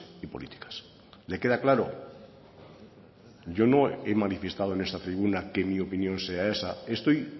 y políticas le queda claro yo no he manifestado en esta tribuna que mi opinión sea esa estoy